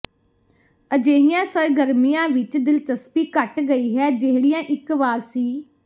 ਅਜਿਹੀਆਂ ਸਰਗਰਮੀਆਂ ਵਿਚ ਦਿਲਚਸਪੀ ਘੱਟ ਗਈ ਹੈ ਜਿਹੜੀਆਂ ਇਕ ਵਾਰ ਸੀ